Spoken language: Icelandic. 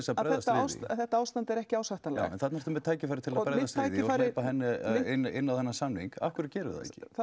að þetta ástand er ekki ásættanlegt þarna er tækifæri til að hleypa henni inn á þennan samning af hverju gerir þú það